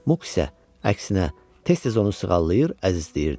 Muq isə əksinə tez-tez onu sığallayır, əzizləyirdi.